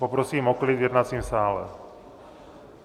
Poprosím o klid v jednacím sále.